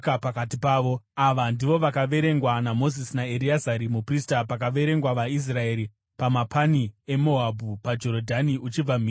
Ava ndivo vakaverengwa naMozisi naEreazari muprista pavakaverenga vaIsraeri pamapani eMoabhu paJorodhani uchibva mhiri kuJeriko.